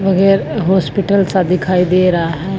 वगैर हॉस्पिटल सा दिखाई दे रहा है।